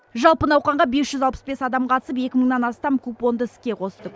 жалпы науқанға бес жүз алпыс бес адам қатысып екі мыңнан астам купонды іске қосты